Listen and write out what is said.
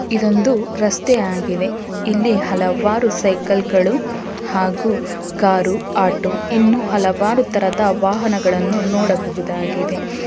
ಇದೊಂದು ರಸ್ತೆ ಆಗಿದೆ ಇಲ್ಲಿ ಹಲವಾರು ಸೈಕಲ್ ಗಳು ಹಾಗು ಕಾರು ಆಟೋ ಇನ್ನು ಹಲವಾರು ತರದ ವಾಹನಗಳನ್ನು ನೋಡಬಹುದಾಗಿದೆ.